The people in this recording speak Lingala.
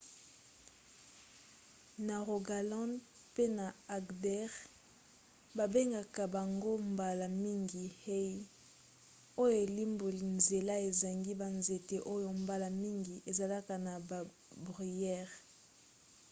na rogaland pe na agder babengaka bango mbala mingi hei oyo elimboli nzela ezangi banzete oyo mbala mingi ezalaka na babruyère